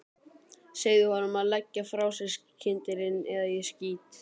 Segðu honum að leggja frá sér kyndilinn eða ég skýt.